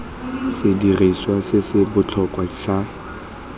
sediriswa se se botlhokwa sa